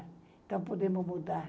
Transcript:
Então, podemos mudar.